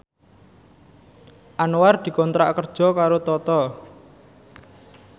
Anwar dikontrak kerja karo Toto